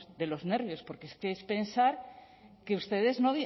de los nervios porque es que pensar que ustedes